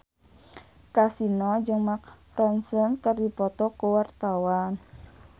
Kasino jeung Mark Ronson keur dipoto ku wartawan